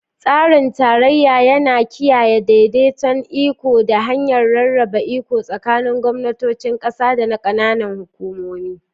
Tsarin tarayya yana kiyaye daidaiton iko ta hanyar rarraba iko tsakanin gwamnatocin kasa da na kananan hukumomi.